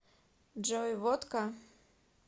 джой водка